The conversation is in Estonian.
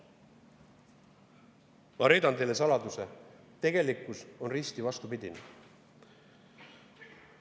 Ma reedan teile saladuse: tegelikkus on risti vastupidine.